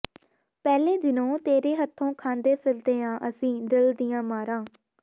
ਪਹਿਲੇ ਦਿਨੋਂ ਤੇਰੇ ਹੱਥੋਂ ਖਾਂਦੇ ਫਿਰਦੇ ਆਂ ਅਸੀ ਦਿਲ ਦੀਆਂ ਮਾਰਾਂ